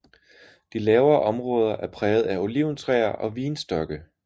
De lavere områder er præget af oliventræer og vinstokke